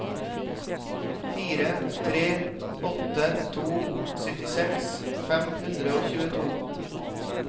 fire tre åtte to syttiseks fem hundre og tjueto